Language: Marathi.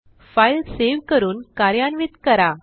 फाईल सेव्ह करून कार्यान्वित करा